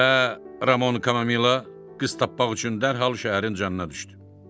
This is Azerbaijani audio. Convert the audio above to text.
Və Ramon Kamomila qız tapmaq üçün dərhal şəhərin canına düşdü.